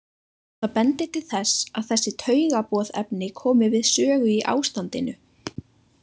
Það bendir til þess að þessi taugaboðefni komi við sögu í ástandinu.